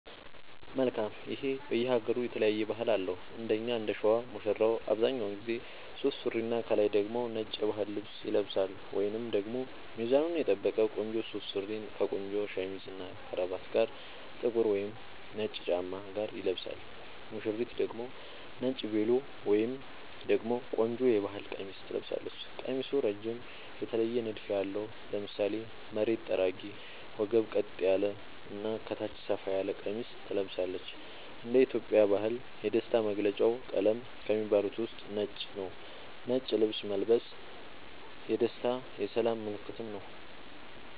መልካም ይሄ በየ ሃገሩ የተለያየ ባህል አለው እንደኛ እንደሸዋ ሙሽራው አብዛኛውን ጊዜ ሱፍ ሱሪና ከላይ ደግሞ ነጭ የባህል ልብስ ይለብሳልወይንም ደግሞ ሚዛኑን የጠበቀ ቆንጆ ሱፍ ሱሪ ከቆንጆ ሸሚዝ እና ከረባት ጋር ጥቁር ወይም ነጭ ጫማ ጋር ይለብሳል ሙሽሪት ደግሞ ነጭ ቬሎ ወይም ደግሞ ቆንጆ የባህል ቀሚስ ትለብሳለች ቀሚሱ እረጅም የተለየ ንድፍ ያለው ( ለምሳሌ መሬት ጠራጊ ወገብ ቀጥ ያለ እና ከታች ሰፋ ያለ ቀሚስ ትለብሳለች )እንደ ኢትዮጵያ ባህል የደስታ መገልውጫ ቀለም ከሚባሉት ውስጥ ነጭ ነዉ ነጭ ልብስ መልበስ የደስታ የሰላም ምልክትም ነዉ